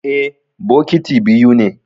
Eh, bokiti biyu ne.